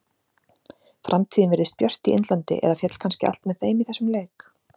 Framtíðin virðist björt í Indlandi eða féll kannski allt með þeim í þessum leik?